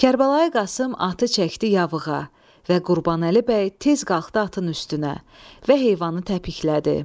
Kərbəlayı Qasım atı çəkdi yavığa və Qurbanəli bəy tez qalxdı atın üstünə və heyvanı təpiklədi.